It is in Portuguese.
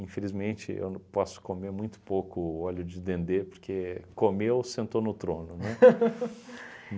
Infelizmente, eu posso não comer muito pouco óleo de dendê, porque comeu, sentou no trono, né?